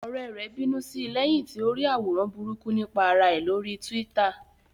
Ọ̀rẹ́ rẹ̀ bínú sí lẹ́yìn tí ó rí àwòrán burúkú nípa ara ẹ̀ lórí Twitter